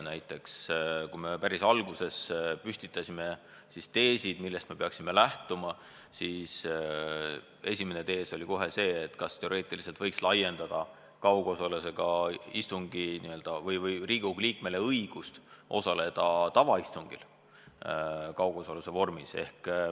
Näiteks, kui me päris alguses püstitasime teesid, millest me peaksime lähtuma, siis esimene küsimus oli kohe see, kas teoreetiliselt võiks anda Riigikogu liikmetele õiguse osaleda ka tavaistungil kaugosaluse vormis.